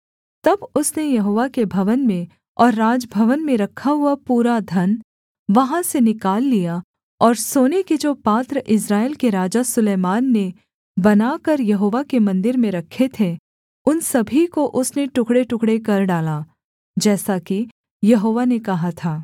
तब उसने यहोवा के भवन में और राजभवन में रखा हुआ पूरा धन वहाँ से निकाल लिया और सोने के जो पात्र इस्राएल के राजा सुलैमान ने बनाकर यहोवा के मन्दिर में रखे थे उन सभी को उसने टुकड़ेटुकड़े कर डाला जैसा कि यहोवा ने कहा था